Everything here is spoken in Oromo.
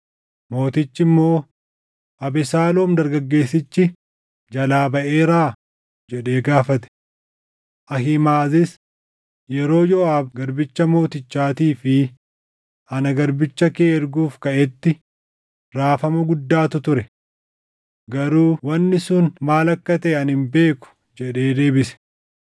Mootichi immoo, “Abesaaloom dargaggeessichi jalaa baʼeeraa?” jedhee gaafate. Ahiimaʼazis, “Yeroo Yooʼaab garbicha mootichaatii fi ana garbicha kee erguuf kaʼetti raafama guddaatu ture. Garuu wanni sun maal akka taʼe ani hin beeku” jedhee deebise.